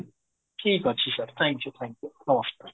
ଠିକ ଅଛି sir thank you thank you ନମସ୍କାର